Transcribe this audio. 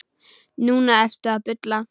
Núna ertu að bulla.